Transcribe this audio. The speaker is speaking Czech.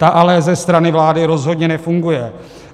Ta ale ze strany vlády rozhodně nefunguje.